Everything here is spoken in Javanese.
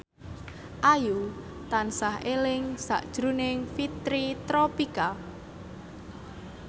Ayu tansah eling sakjroning Fitri Tropika